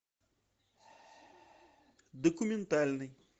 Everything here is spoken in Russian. документальный